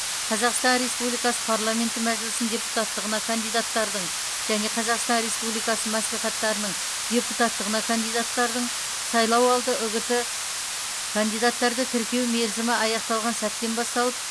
қазақстан республикасы парламенті мәжілісінің депутаттығына кандидаттардың және қазақстан республикасы мәслихаттарының депутаттығына кандидаттардың сайлауалды үгіті кандидаттарды тіркеу мерзімі аяқталған сәттен басталып